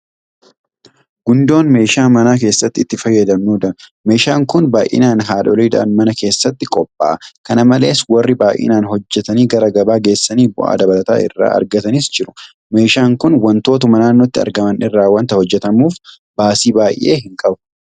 Gundoon meeshaa mana keessatti itti fayyadamnudha. Meeshaam kun baay'inaan haadholiidhaan mana keessatti qophaa'a. Kana malees warri baay'inaan hojjetanii gara gabaa geessanii bu'aa dabalataa irraa argatanis jiru. Meeshaan kun waantotuma naannootti argaman irraa waanta hojjetamuuf baasii baay'ee hin qabu.